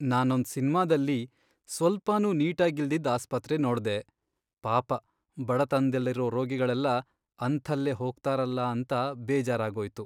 ನಾನೊಂದ್ ಸಿನ್ಮಾದಲ್ಲಿ ಸ್ವಲ್ಪನೂ ನೀಟಾಗಿಲ್ದಿದ್ ಆಸ್ಪತ್ರೆ ನೋಡ್ದೆ, ಪಾಪ ಬಡತನ್ದಲ್ಲಿರೋ ರೋಗಿಗಳೆಲ್ಲ ಅಂಥಲ್ಲೇ ಹೋಗ್ತಾರಲ ಅಂತ ಬೇಜಾರಾಗೋಯ್ತು.